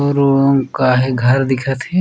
उ रूम का हे घर दिखत हे।